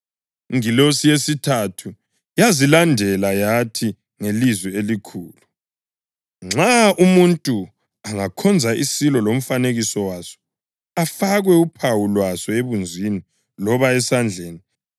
Ingilosi yesithathu yazilandela yathi ngelizwi elikhulu, “Nxa umuntu angakhonza isilo lomfanekiso waso afakwe uphawu lwaso ebunzini loba esandleni,